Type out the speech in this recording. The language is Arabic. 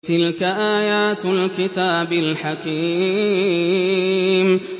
تِلْكَ آيَاتُ الْكِتَابِ الْحَكِيمِ